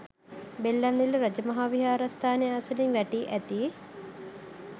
බෙල්ලන්විල රාජ මහා විහාරස්ථානය අසළින් වැටී ඇති